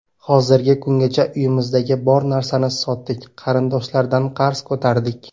Hozirgi kungacha uyimizdagi bor narsani sotdik, qarindoshlardan qarz ko‘tardik.